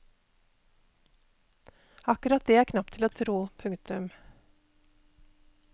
Akkurat det er knapt til å tro. punktum